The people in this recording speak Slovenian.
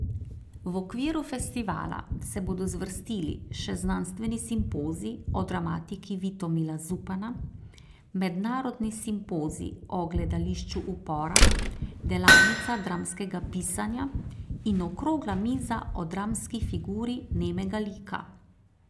V okviru festivala se bodo zvrstili še znanstveni simpozij o dramatiki Vitomila Zupana, mednarodni simpozij o gledališču upora, delavnica dramskega pisanja in okrogla miza o dramski figuri nemega lika.